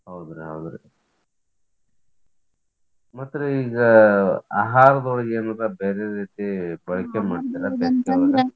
ಹೌದ್ರಿ ಹೌದ್ರಿ ಮತ್ ರೀ ಈಗ ಆಹಾರದೊಳಗ್ ಏನಾರ್ ಬ್ಯಾರೆ ರೀತಿ ಬಳಕೆ ಮಾಡ್ತೀರಾ?